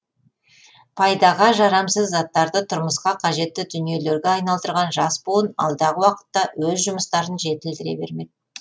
пайдаға жарамсыз заттарды тұрмысқа қажетті дүниелерге айналдырған жас буын алдағы уақытта өз жұмыстарын жетілдіре бермек